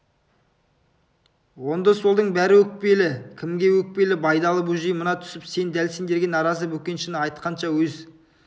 оңды-солдың бәрі өкпелі кімге өкпелі байдалы бөжей мына түсіп сен дәл сендерге наразы бөкеншіні айтқанша өз